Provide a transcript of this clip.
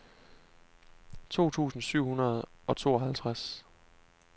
to tusind syv hundrede og tooghalvtreds